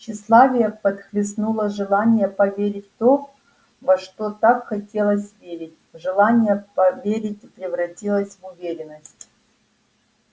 тщеславие подхлестнуло желание поверить в то во что так хотелось верить желание поверить превратилось в уверенность